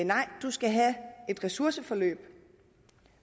nej du skal have et ressourceforløb